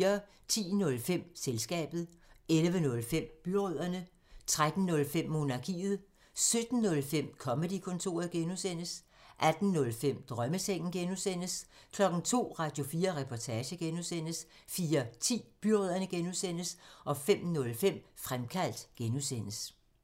10:05: Selskabet 11:05: Byrødderne 13:05: Monarkiet 17:05: Comedy-kontoret (G) 18:05: Drømmesengen (G) 02:00: Radio4 Reportage (G) 04:10: Byrødderne (G) 05:05: Fremkaldt (G)